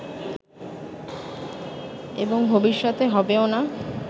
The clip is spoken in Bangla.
এবং ভবিষ্যতে হবেও না